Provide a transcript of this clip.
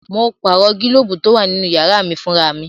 Mo pààrọ̀ gílóbù tó wà nínú yàrá mí fún ra mi